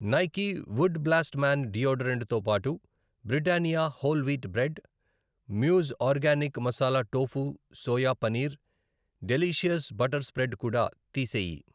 Nike wood blast man deodorant తోబాటు Britannia whole wheat bread, Muse organic masala tofu soya paneer, delicious butter spread కూడా తీసేయి.